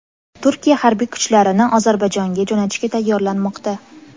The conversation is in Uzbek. Turkiya harbiy kuchlarini Ozarbayjonga jo‘natishga tayyorlanmoqda.